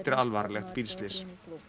alvarlegt bílslys